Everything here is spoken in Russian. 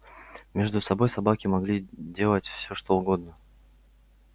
между собой собаки могли делать все что угодно